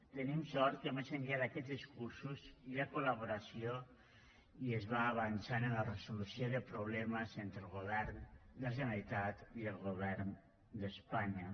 tenim sort que més enllà d’aquests discursos hi ha col·laboració i es va avançant en la resolució de problemes entre el govern de la generalitat i el govern d’espanya